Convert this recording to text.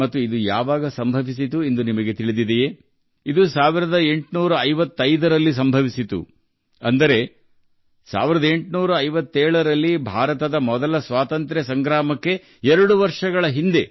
ಇದು ಯಾವಾಗ ನಡೆಯಿತು ಎಂದು ನಿಮಗೆ ತಿಳಿದಿದೆಯೇ ಇದು 1855ರಲ್ಲಿ ಜರುಗಿತು ಅಂದರೆ 1857ರಲ್ಲಿ ಭಾರತದ ಮೊದಲ ಸ್ವಾತಂತ್ರ್ಯ ಸಂಗ್ರಾಮಕ್ಕೆ 2 ವರ್ಷಗಳ ಮೊದಲು ಇದು ಸಂಭವಿಸಿತು